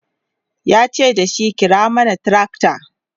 yace dashi"kira mana tracta!"